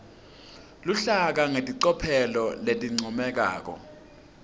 luhlaka ngelicophelo lelincomekako